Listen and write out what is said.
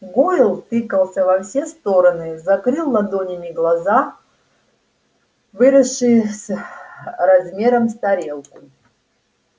гойл тыкался во все стороны закрыл ладонями глаза выросшие с размером с тарелку